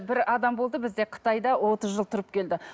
бір адам болды бізде қытайда отыз жыл тұрып келді